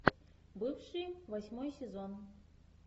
бывшие восьмой сезон